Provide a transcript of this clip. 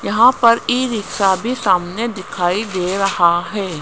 यहां पर e rickshaw भी सामने दिखाई दे रहा है।